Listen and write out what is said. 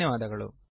ಧನ್ಯವಾದಗಳು